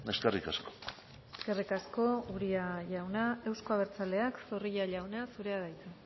eskerrik asko eskerrik asko uria jauna euzko abertzaleak zorrilla jauna zurea da hitza